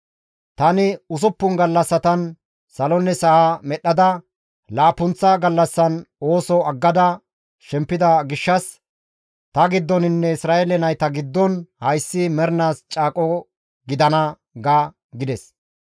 Tani usuppun gallassatan salonne sa7a medhdhada laappunththa gallassan ooso aggada shempida gishshas, taassinne Isra7eele naytas giddon hayssi mernaas caaqo gidana› ga» gides.